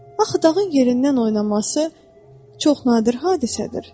Axı dağın yerindən oynaması çox nadir hadisədir.